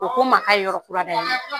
O ko m' a yɔrɔ kura da yɛlɛ.